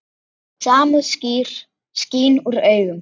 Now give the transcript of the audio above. Samúð skín úr augum hennar.